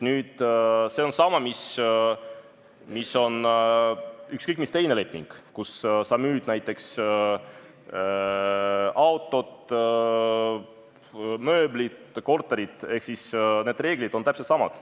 See leping on samasugune nagu ükskõik milline teine leping, kui sa müüd näiteks autot, mööblit, korterit – reeglid on täpselt samad.